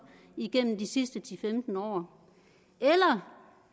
igennem de sidste til femten år eller